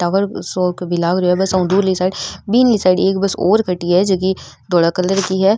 Tower सो क भी लाग रो है झकी धोल कलर की है।